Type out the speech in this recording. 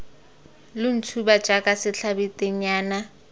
lo ntshuba jaaka setlhabi tennyana